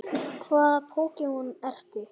Hvaða Pokémon ertu?